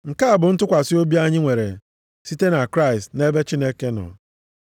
Nke a bụ ntụkwasị obi anyị nwere site na Kraịst nʼebe Chineke nọ.